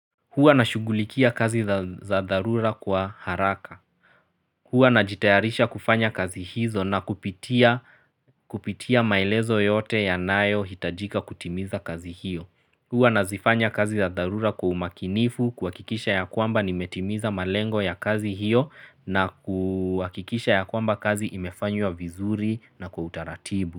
Hua na shugulikia kazi za darura kwa haraka. Hua na jitayarisha kufanya kazi hizo na kupitia maelezo yote ya nayo hitajika kutimiza kazi hiyo. Hua na zifanya kazi za darura kwa umakinifu, kwa kikisha ya kwamba nimetimiza malengo ya kazi hiyo. Na kuhakikisha ya kwamba kazi imefanywa vizuri na kwa utaratibu.